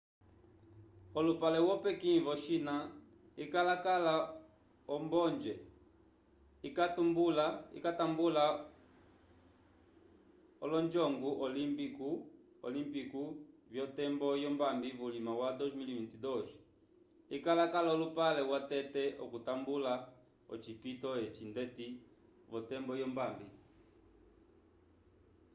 olupale wo pequim vo china ikakala ombonge ikatambula olonjongu olimpiku vyotembo yombambi vulima wa 2022 ikakala olupale watete okutambula ocipito eci ndeti v'otembo yombambi